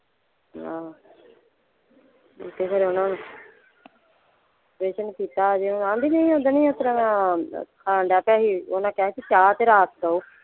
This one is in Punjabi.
ਆਹੋ ਤੇ ਫੇਰ ਓਹਨਾਂ ਹੁਣ ਕੀਤਾ ਹਜੇ ਆਂਦੀ ਨਹੀਂ ਉੱਸਦਿਨ ਨਹੀਂ ਇਸਤਰਾਂ ਖਾਣ ਡਯਾ ਪਯਾ ਸੀ ਓਹਨਾਂ ਕਿਹਾ ਸੀ ਚਾਹ ਤੇ ਰੱਸ ਦਿਓ।